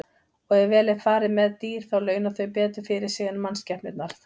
Og ef vel er farið með dýr þá launa þau betur fyrir sig en mannskepnurnar.